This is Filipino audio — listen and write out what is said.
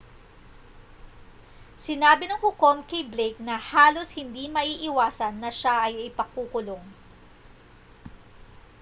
sinabi ng hukom kay blake na halos hindi maiiwasan na siya ay ipakukulong